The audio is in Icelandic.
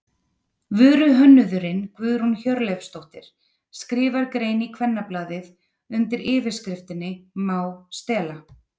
Vöruhönnuðurinn Guðrún Hjörleifsdóttir skrifar grein í Kvennablaðið undir yfirskriftinni Má stela?